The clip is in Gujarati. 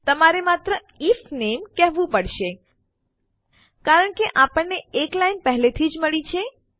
તમારે માત્ર આઇએફ નામે કહેવું પડશે કારણ કે આપણને એક લાઇન પેહેલે થી જ મળી છે